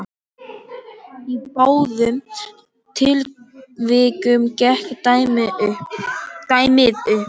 Í báðum tilvikum gekk dæmið upp.